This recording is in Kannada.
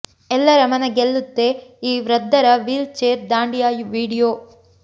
ಎಲ್ಲರ ಮನ ಗೆಲ್ಲುತ್ತೆ ಈ ವೃದ್ಧರ ವೀಲ್ ಚೇರ್ ದಾಂಡಿಯಾ ವಿಡಿಯೋ